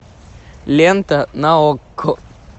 лента на окко